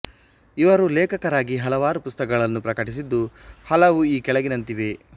ಇವರು ಲೇಖಕರಾಗಿ ಹಲವಾರು ಪುಸ್ತಕಗಳನ್ನು ಪ್ರಕಟಿಸಿದ್ದು ಹಲವು ಈ ಕೆಳಗಿನಂತಿವೆ